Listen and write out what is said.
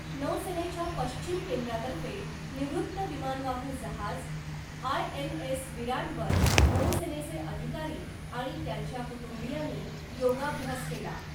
नौसेनेच्या पश्चिम केंद्रातर्फे निवृत्त विमानवाहू जहाज , आय एन एस विराट वर नौसेनेचे अधिकारी आणि त्यांच्या कुटुंबियांनी योगाभ्यास केला .